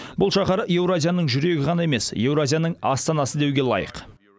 бұл шаһар еуразияның жүрегі ғана емес еуразияның астанасы деуге лайық